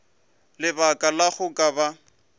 lebaka la go ka ba